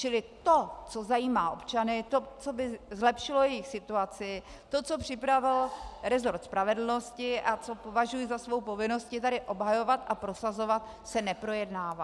Čili to, co zajímá občany, to, co by zlepšilo jejich situaci, to, co připravil rezort spravedlnosti a co považuji za svou povinnost tady obhajovat a prosazovat, se neprojednává.